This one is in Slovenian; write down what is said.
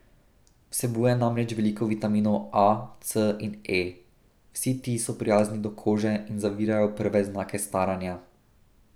Vsebuje namreč veliko vitaminov A, C in E, vsi ti so prijazni do kože in zavirajo prve znake staranja.